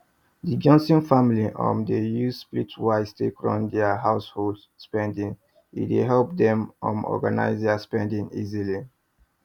the johnson family um dey use splitwise take run dir household spendings e dey help dem um organise their spending easily